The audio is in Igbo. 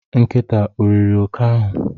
Nkịta o riri oke ahụ?